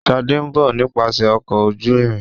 Shade nbọ nípasẹ Ọkọ̀ ojú-irin.